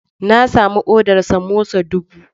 Na sami odar samosa dubu